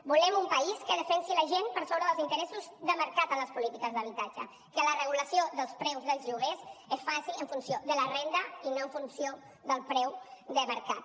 volem un país que defensi la gent per sobre dels interessos de mercat en les polítiques d’habitatge que la regulació dels preus dels lloguers es faci en funció de la renda i no en funció del preu de mercat